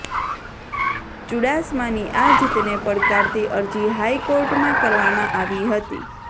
ચુડાસમાની આ જીતને પડકારતી અરજી હાઇકોર્ટમાં કરવામાં આવી હતી